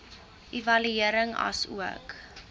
evaluering asook